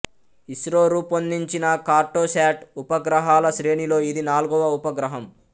ఇస్రో రూపొందించిన కార్టోశాట్ ఉపగ్రహాల శ్రేణిలో ఇది నాల్గవ ఉపగ్రహం